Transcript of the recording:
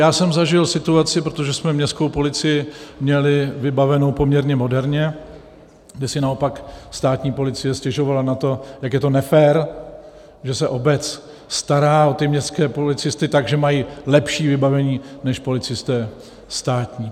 Já jsem zažil situaci, protože jsme městskou policii měli vybavenou poměrně moderně, kde si naopak státní policie stěžovala na to, jak je to nefér, že se obec stará o městské policisty tak, že mají lepší vybavení než policisté státní.